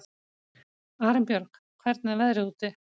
Arinbjörg, hvernig er veðrið úti?